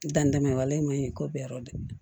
Danni daminɛn waleman bɛɛ